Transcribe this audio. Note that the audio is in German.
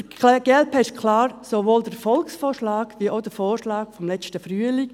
Für die glp ist klar: Sowohl der Volksvorschlag als auch der Vorschlag vom letzten Frühling: